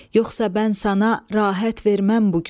Yoxsa bən sana rahat verməm bu gün.